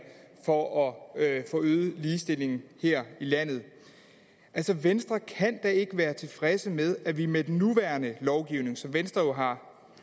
for at få øget ligestillingen her i landet altså venstre kan da ikke være tilfredse med at det med den nuværende lovgivning som venstre jo har